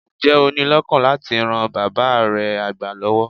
Ǹjẹ́ o ní lọ́kàn láti ran bàab́ re àgbà lọ́wọ́?